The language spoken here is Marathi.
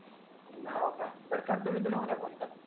नाव का बरं करतो मी तुला उद्या फोन चल